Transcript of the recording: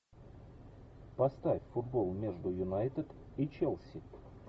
поставь футбол между юнайтед и челси